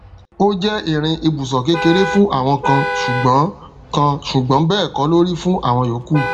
o jẹ ìrìn ibusọ kékeré fún àwọn kan sùgbón kan sùgbón bẹẹ kọ lórí fún àwọn yòókù